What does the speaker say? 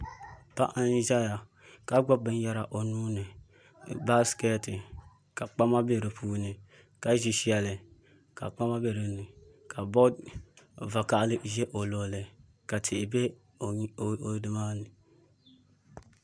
Paɣa n ʒɛya ka gbubi binyɛra o nuuni baskɛt ka kpama bɛ di puuni ka ʒi shɛli ka kpama bɛ dinni ka bood vakaɣali ʒɛ o luɣuli ka tihi bɛ o nimaani